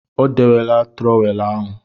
O dewela trọweelụ ahụ.